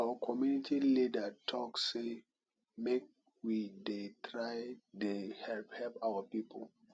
our community leader talk say make we dey try dey help help our people